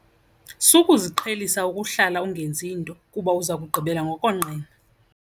Sukuziqhelisa ukuhlala ungenzi nto kuba uza kugqibela ngokonqena.